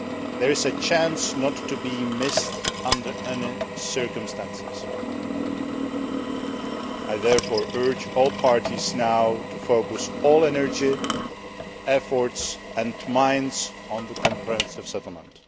This is a chance not to be missed under any circumstances. I therefore urge all parties now to focus all energy, efforts and minds on the comprehensive settlement.